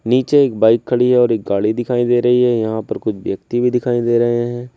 नीचे एक बाइक खड़ी है और एक गाड़ी दिखाई दे रही है यहां पर कुछ व्यक्ति भी दिखाई दे रहे है।